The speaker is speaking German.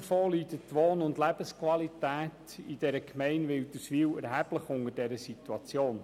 Abgesehen davon leidet die Wohn- und Lebensqualität in der Gemeinde Wilderswil erheblich unter dieser Situation.